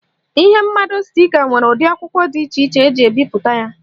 Ihe mmado stika nwere ụdị akwụkwọ dị iche eji ebipụta ya.